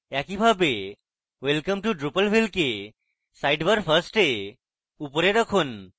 একইভাবে welcome to drupalville কে sidebar first এ উপরে রাখুন